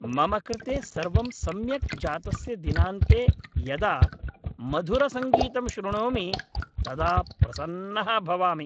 मम कृते सर्वं सम्यक् जातस्य दिनान्ते यदा मधुरसङ्गीतं शृणोमि तदा प्रसन्नः भवामि।